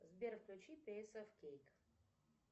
сбер включи пейс оф кейк